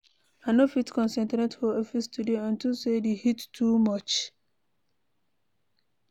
I no fit concentrate for office today unto say the heat too much.